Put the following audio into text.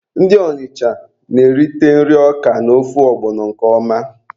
Ndị Ọnịcha na-erite nri Ọka na ofe ọgbọnọ nke ọma.